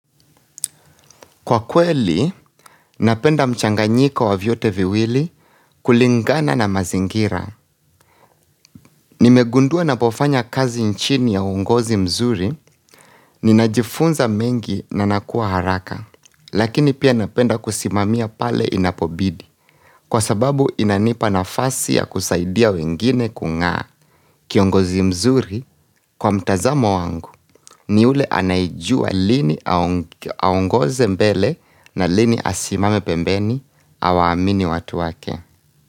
Kwa kweli, napenda mchanganyiko wa vyote viwili kulingana na mazingira. Nimegundua napofanya kazi nchini ya uongozi mzuri, ninajifunza mengi nanakua haraka, lakini pia napenda kusimamia pale inapobidi, kwa sababu inanipa nafasi ya kusaidia wengine kungaa. Kiongozi mzuri kwa mtazamo wangu ni ule anayejua lini aongoze mbele na lini asimame pembeni awamini watu wake.